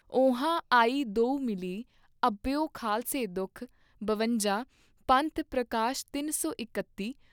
ਊਹਾਂ ਆਇ ਦੋਊ ਮਿਲੀ ਅਹਭਯੋ ਖਾਲਸੇ ਦੁੱਖ ॥ਬਵੰਜਾ ॥ ਪੰਥ ਪ੍ਰਕਾਸ਼ ਤਿੰਨ ਸੌ ਇਕੱਤੀ